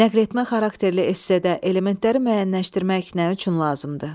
Nəqretmə xarakterli essedə elementləri müəyyənləşdirmək nə üçün lazımdır?